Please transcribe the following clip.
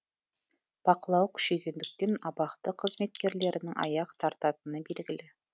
бақылау күшейгендіктен абақты қызметкерлерінің аяқ тартатыны белгілі